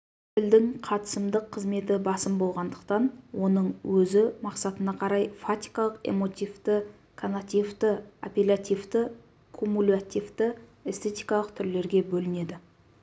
тілдің қатысымдық қызметі басым болғандықтан оның өзі мақсатына қарай фатикалық эмотивті конативті аппелятивті куммулятивті эстетикалық түрлерге бөлінеді